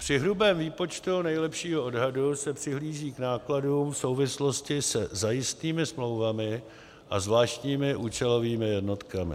Při hrubém výpočtu nejlepšího odhadu se přihlíží k nákladům v souvislosti se zajistnými smlouvami a zvláštními účelovými jednotkami.